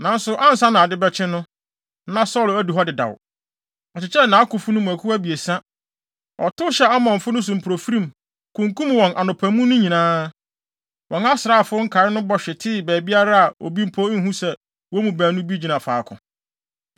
Nanso ansa na ade bɛkye no, na Saulo adu hɔ dedaw. Ɔkyekyɛɛ nʼakofo no mu akuw abiɛsa. Ɔtow hyɛɛ Amonfo no so mpofirim, kunkum wɔn anɔpa mu no nyinaa. Wɔn asraafo nkae no bɔ hwetee baabiara a obi mpo nhu sɛ wɔn mu baanu bi gyina faako.